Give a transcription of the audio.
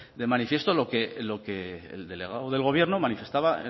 de manifiesto lo que el delegado del gobierno manifestaba